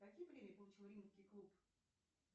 какие премии получил римский клуб